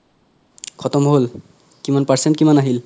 খতম হ'ল কিমান percent কিমান আহিল